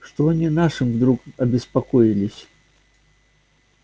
что они нашим вдруг обеспокоились